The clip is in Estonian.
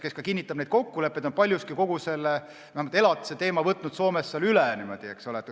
Tema kinnitab need kokkulepped ja on paljuski kogu elatiseteema Soomes üle võtnud.